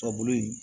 Ka bolo ye